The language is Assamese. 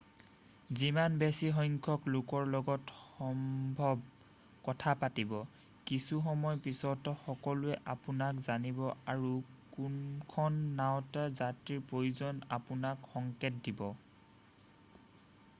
যিমান বেছি সংখ্যক লোকৰ লগত সম্ভৱ কথা পাতিব কিছুসময় পিছত সকলোৱে আপোনাক জানিব আৰু কোনখন নাওঁত যাত্ৰীৰ প্ৰয়োজন আপোনাক সংকেত দিব